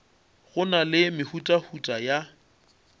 go na le mehutahuta ya